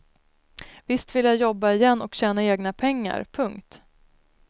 Visst vill jag jobba igen och tjäna egna pengar. punkt